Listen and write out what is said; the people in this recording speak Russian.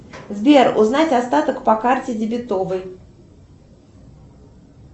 сбер узнать остаток по карте дебетовой